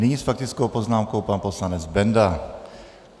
Nyní s faktickou poznámkou pan poslanec Benda.